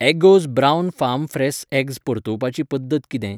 Eggoz brown farm fresh eggs परतुवपाची पद्दत किदें?